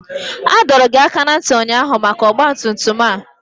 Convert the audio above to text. A dọrọ gị aka ná ntị ụnyaahụ maka ọgba tum tum a!